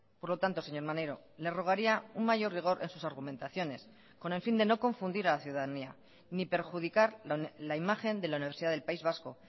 por lo tanto señor maneiro le rogaría un mayor rigor en sus argumentaciones con el fin de no confundir a la ciudadanía ni perjudicar la imagen de la universidad del país vasco